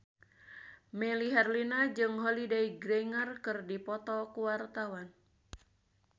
Melly Herlina jeung Holliday Grainger keur dipoto ku wartawan